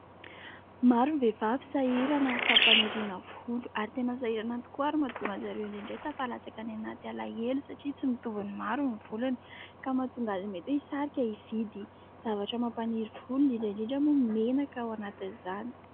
Maro ny vehivavy sahirana amin’ny fampaniriana volo ary tena sahirana tokoa; ary mahatonga an'i zareo indraindray tafalatsaka any anaty alahelo satria tsy mitovy ny maro ny volony; ka mahatonga azy mety hoe hisarika hividy zavatra mampaniry volony indrindra indrindra moa menaka ao anatin'izany.